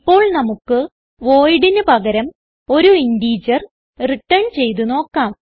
ഇപ്പോൾ നമുക്ക് voidന് പകരം ഒരു ഇന്റഗർ റിട്ടേൺ ചെയ്ത് നോക്കാം